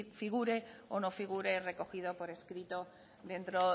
figure o no figure recogido por escrito dentro